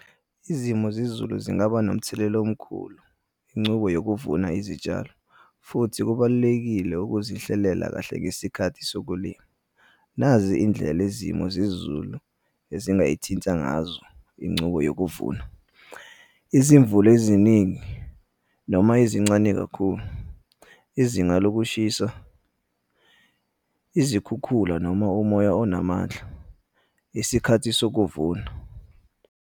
Izimo zezulu zingaba nomthelela omkhulu, incubo yokuvuna izitshalo, futhi kubalulekile ukuzihlelela kahle ngesikhathi sokulima. Nazi iy'ndlela izimo zezulu ezingayithinta ngazo incubo yokuvuna. Izimvula eziningi noma ezincane kakhulu, izinga lokushisa, izikhukhula noma umoya onamandla, isikhathi sokuvuna.